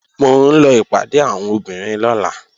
Mò ń lọ ìpàdé àwọn obìnrin lọ́la